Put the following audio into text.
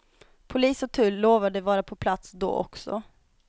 Polis och tull lovade vara på plats då också.